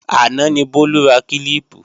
Àná ni Bólú ra kílíìpù